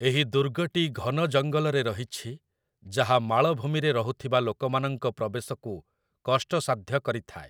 ଏହି ଦୁର୍ଗଟି ଘନ ଜଙ୍ଗଲରେ ରହିଛି ଯାହା ମାଳଭୂମିରେ ରହୁଥିବା ଲୋକମାନଙ୍କ ପ୍ରବେଶକୁ କଷ୍ଟସାଧ୍ୟ କରିଥାଏ ।